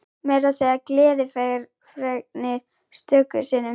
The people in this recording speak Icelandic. Meira að segja gleðifregnir stöku sinnum.